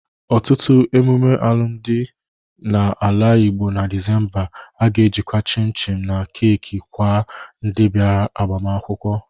Ọtụtụ emume alụmdị na ala Igbo na Disemba a ga-ejikwa chịm chịm na keeki kwa ndị bịara agbamakwụkwọ.